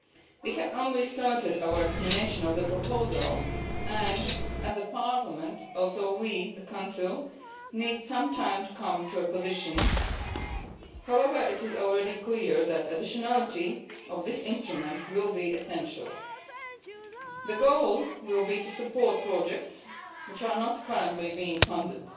We have only just started our examination of the proposal and, like the Parliament, we in the Council need some time to come to a position. However, it is already clear that the additionality of this instrument will be essential. The goal will be to support projects which are not currently being